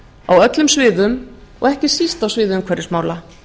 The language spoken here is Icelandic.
á öllum sviðum og ekki síst á sviði umhverfismála